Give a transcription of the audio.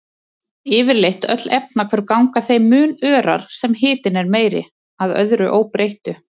Yfirleitt öll efnahvörf ganga þeim mun örar sem hitinn er meiri, að öðru óbreyttu.